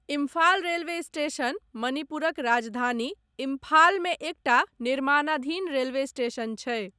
Imphal railway station, मणिपुरक राजधानी इम्फालमे एकटा निर्माणाधीन रेलवे स्टेशन छै।